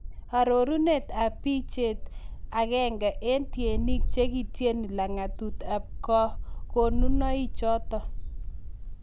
Arorunet ab bicheet, agenge en tyenik chekityeni lang'atut ab kakonunoik choto.